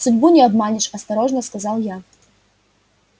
судьбу не обманешь осторожно сказал я